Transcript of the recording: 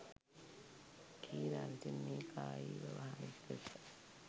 කීරා විසින් මේ කායීව වහලෙක් ලෙස